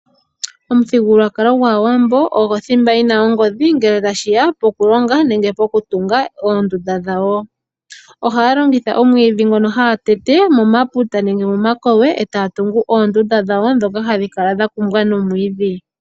Omuthigululwakalo gwAawambo ogo thimba yi na ongodhi, ngele tashi ya poku longa nenge pokutunga oondunda dhawo. Ohaa longitha omwiidhi ngono haa teete momaputa nenge momakowe etaa tungu oondunda dhawo ndhoka hadhi kala dha kumbwa nomwiidhi.